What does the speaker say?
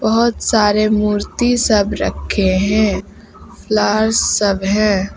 बहोत सारे मूर्ति सब रखे है लाल सब है।